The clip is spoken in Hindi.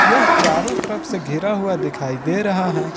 यह चारों तरफ से घेरा हुआ दिखाई दे रहा है।